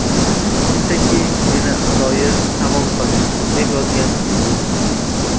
Shunchaki meni adoyi tamom qilding”, − deb yozgan yulduz.